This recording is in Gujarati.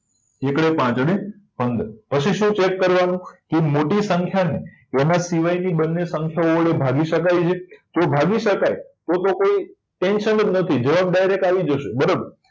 પાંચ અને પંદર પછી શું ચેક કરવાનું કે મોટી સંખ્યાને એના સિવાયની બંને સંખ્યાઓ વડે ભાગી શકાય છે તો ભાગી શકાય તો તો કોઈ tension જ નથી જવાબ direct આવી જશે બરાબર